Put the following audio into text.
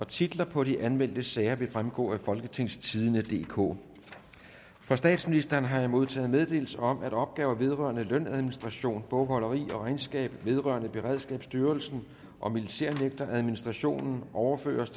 titler på de anmeldte sager vil fremgå af folketingstidende DK fra statsministeren har jeg modtaget meddelelse om at opgaver vedrørende lønadministration bogholderi og regnskab vedrørende beredskabsstyrelsen og militærnægteradministrationen overføres